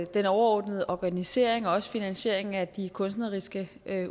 den overordnede organisering og også finansiering af de kunstneriske